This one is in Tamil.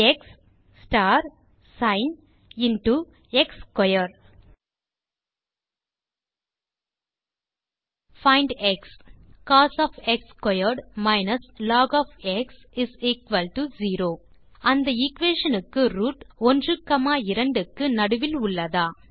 X star sin into x square find x cos log0 அந்த எக்வேஷன் க்கு ரூட் 12 க்கு நடுவில் உள்ளதா